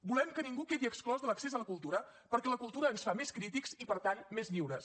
volem que ningú quedi exclòs de l’accés a la cultura perquè la cultura ens fa més crítics i per tant més lliures